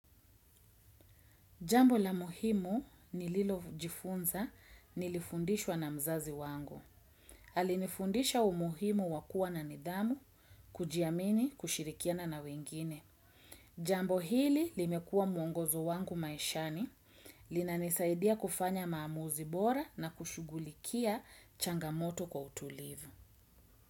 Jambo la muhimu nililo jifunza nilifundishwa na mzazi wangu. Alinifundisha umuhimu wakua na nidhamu, kujiamini kushirikiana na wengine. Jambo hili limekua mwongozo wangu maishani, linanisaidia kufanya maamuzi bora na kushugulikia changamoto kwa utulivu.